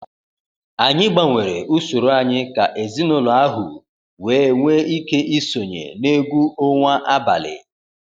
Anyị gbanwere usoro anyị ka ezinụlọ ahu wee nwee ike isonye na egwu onwa abalị.